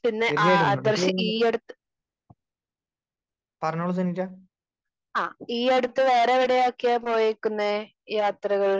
Speaker 2 പിന്നെ ആഹ് ആദർശ് ഈ അടുത്ത് ആഹ് ഈ അടുത്ത് വേറെ എവിടേയൊക്കെയാ പോയേർക്കുന്നെ യാത്രകൾ?